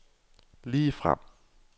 ligefrem